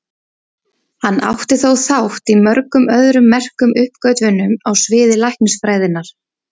Hann átti þó þátt í mörgum öðrum merkum uppgötvunum á sviði læknisfræðinnar.